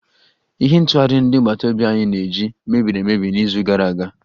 Ihe ntụghari ndi agbata obi anyi na-eji mebiri emebi n'izu gara aga